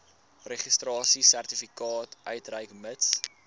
registrasiesertifikaat uitreik mits